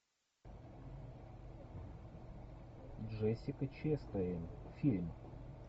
джессика честейн фильм